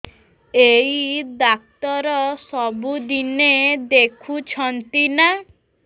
ଏଇ ଡ଼ାକ୍ତର ସବୁଦିନେ ଦେଖୁଛନ୍ତି ନା